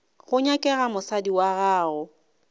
go nyakega mosadi wa gago